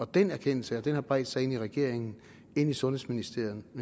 den erkendelse har bredt sig ind i regeringen ind i sundhedsministeren og